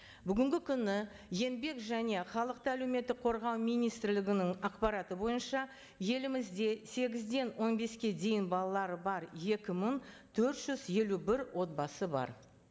бүгінгі күні еңбек және халықты әлеуметтік қорғау министрлігінің ақпараты бойынша елімізде сегізден он беске дейін балалары бар екі мың төрт жүз елу бір отбасы бар